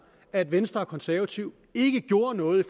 at venstre og de konservative ikke gjorde noget i